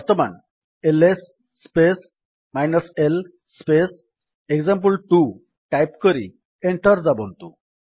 ବର୍ତ୍ତମାନ LS space l space example two type କରି enter ଦାବନ୍ତୁ